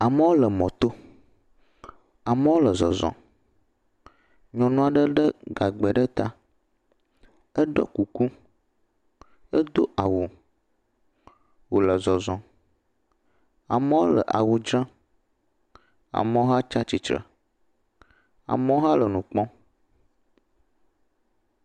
Amewo le mɔ to. Amewo le zɔzɔm. Nyɔnu aɖe le gagbe ɖe ta eɖɔ kuku, edo awu. Wole zɔzɔm. Amewo le awu tsɔm. Amewo hã tsia tsitre, amewo hã le nu kpɔm.